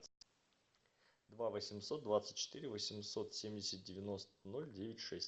два восемьсот двадцать четыре восемьсот семьдесят девяносто ноль девять шесть